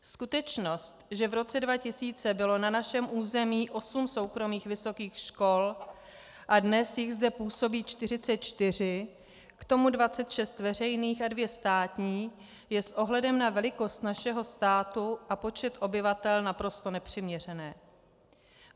Skutečnost, že v roce 2000 bylo na našem území 8 soukromých vysokých škol a dnes jich zde působí 44, k tomu 26 veřejných a 2 státní, je s ohledem na velikost našeho státu a počet obyvatel naprosto nepřiměřená.